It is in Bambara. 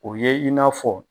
O ye i n'a fɔ